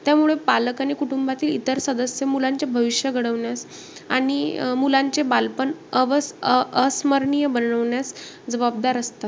त्यामुळे पालक आणि कुटुंबातील इतर सदस्य मुलांचे भविष्य घडवण्यात आणि अं मुलांचे बालपण अव~ अ~ अस्मर्णीय बनवण्यात जबाबदार असतात.